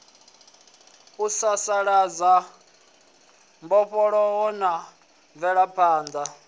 u sasaladza mbofholowo na mvelaphanḓa